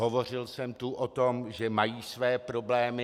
Hovořil jsem tu o tom, že mají své problémy.